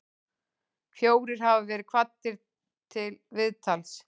Fjórir hafa verið kvaddir til viðtals